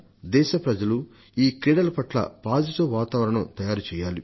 దేశ ప్రజలు ఈ క్రీడాకారుల పట్ల సానుకూల వాతావరణాన్ని తయారు చేయాలి